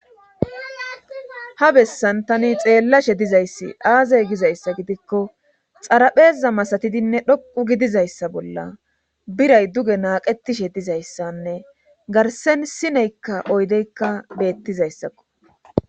Ha bessan tani xeellashe dizayssi aazey gizayssa gidikko xarapheza masatidinne dhoqu gidizayssa bolla biray duge naaqetishe dizayssanne garsen sineykka oydeykka beettizayssakko.